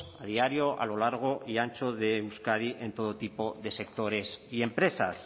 a diario a lo largo y ancho de euskadi en todo tipo de sectores y empresas